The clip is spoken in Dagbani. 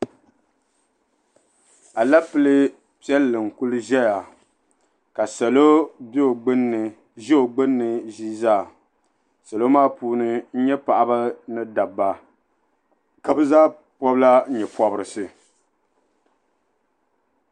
Alapilee piɛlli n-kuli zaya ka salo be o gbunni ʒe o gbunni ʒii zaa salo maa puuni n-nyɛ paɣaba ni dabba ka be zaa pɔbu la nyɛpɔbirisi.